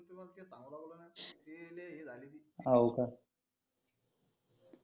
ते लय हे झाले होते